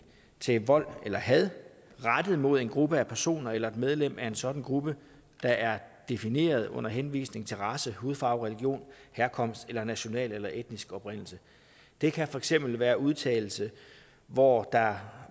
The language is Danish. til vold eller had rettet mod en gruppe af personer eller et medlem af en sådan gruppe der er defineret under henvisning til race hudfarve religion herkomst eller national eller etnisk oprindelse det kan for eksempel være en udtalelse hvori der